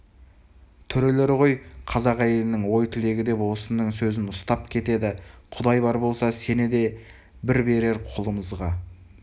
төрелер ғой қазақ әйелінің ой-тілегі деп осының сөзін ұстап кетеді құдай бар болса сені де бір берер қолымызға